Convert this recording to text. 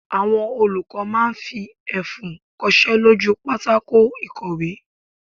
Àwọn olùkọ́ máa fi ẹfun kosé lójú u pátákó ìkọ̀wé